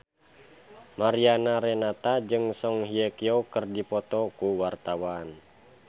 Mariana Renata jeung Song Hye Kyo keur dipoto ku wartawan